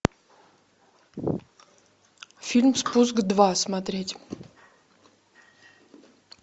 фильм спуск два смотреть